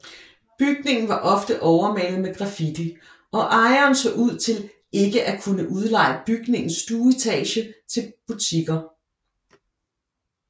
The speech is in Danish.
Bygningen var ofte overmalet med grafitti og ejeren så ud til ikke at kunne udleje bygningens stueetage til butikker